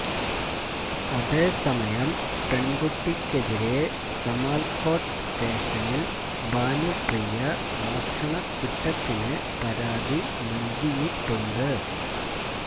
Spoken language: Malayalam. അതേസമയം പെണ്കുട്ടിക്കെതിരെ സമാല്കോട്ട് സ്റ്റേഷനില് ഭാനുപ്രിയ മോഷണക്കുറ്റത്തിന് പരാതി നല്കിയിട്ടുണ്ട്